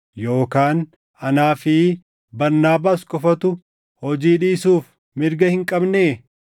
Yookaan anaa fi Barnaabaas qofatu hojii dhiisuuf mirga hin qabnee?